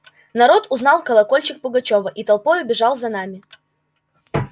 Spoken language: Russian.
народ узнал колокольчик пугачёва и толпою бежал за нами